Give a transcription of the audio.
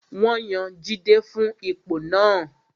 Wọ́n yan Jide fún ipò náà